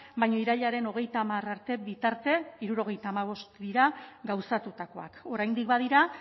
baina irailaren hogeita hamar arte bitarte hirurogeita hamabost dira gauzatutakoak oraindik badira